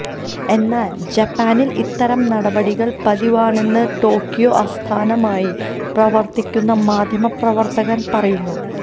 എന്നാല് ജപ്പാനില് ഇത്തരം നടപടികള് പതിവാണെന്ന് ടോക്കിയോ ആസ്ഥാനമായി പ്രവത്തിക്കുന്ന മാധ്യമ പ്രവര്ത്തകന് പറയുന്നു